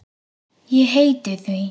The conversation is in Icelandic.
Ég heiti því.